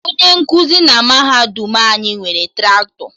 Onye nkụzi na mahadum anyị nwere Traktọ